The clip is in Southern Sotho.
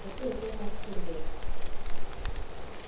re ke ke ra qhelela